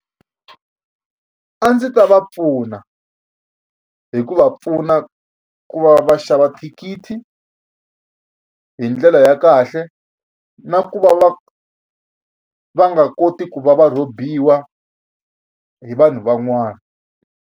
A ndzi ta va pfuna hi ku va pfuna ku va va xava thikithi hi ndlela ya kahle na ku va va va nga koti ku va va rhobiwa hi vanhu van'wana.